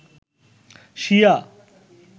শিয়া